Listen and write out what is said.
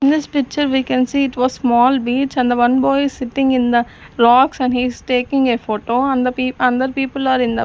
In this picture we can see it was small beach and the one boy is sitting in the rocks and he is taking a photo and the and the people are in the--